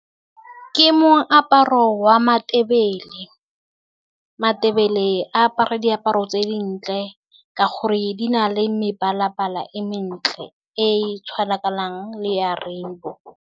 Ke moaparo wa maNdebele, maNdebele a apare diaparo tse dintle ka gore di na le mebala-bala e mentle, e e tshwanang le ya rainbow.